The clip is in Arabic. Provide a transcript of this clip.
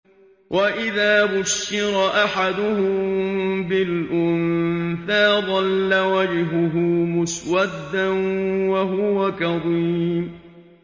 وَإِذَا بُشِّرَ أَحَدُهُم بِالْأُنثَىٰ ظَلَّ وَجْهُهُ مُسْوَدًّا وَهُوَ كَظِيمٌ